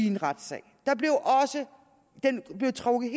en retssag som blev trukket